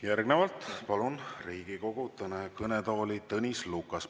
Järgnevalt palun Riigikogu kõnetooli Tõnis Lukase.